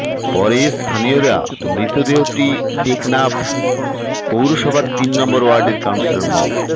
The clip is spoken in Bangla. পরে স্থানীয়রা মৃতদেহটি টেকনাফ পৌরসভার তিন নম্বর ওয়ার্ডের কাউন্সিলর মো